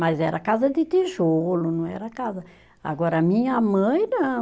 Mas era casa de tijolo, não era casa, agora, a minha mãe, não.